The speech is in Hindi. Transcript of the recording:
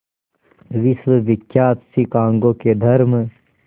विश्वविख्यात शिकागो के धर्म